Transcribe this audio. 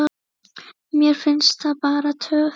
Mér finnst það bara töff.